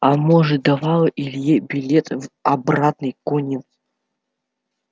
а может давала илье билет в обратный конец